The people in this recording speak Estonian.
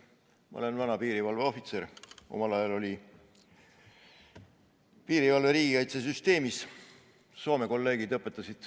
Ma olen vana piirivalveohvitser, omal ajal oli piirivalve riigikaitsesüsteemis.